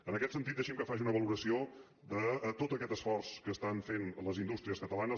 en aquest sentit deixi’m que faci una valoració de tot aquest esforç que estan fent les indústries catalanes